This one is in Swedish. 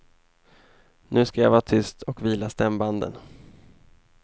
Nu ska jag vara tyst och vila stämbanden.